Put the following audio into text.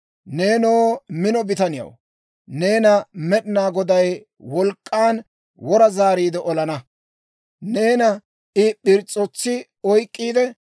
nenoo mino bitaniyaw, neena Med'inaa Goday wolk'k'an wora zaariide olana. Neena I p'irs's'otsi oyk'k'iide,